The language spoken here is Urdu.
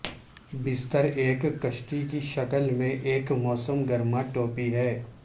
بستر ایک کشتی کی شکل میں ایک موسم گرما ٹوپی ہے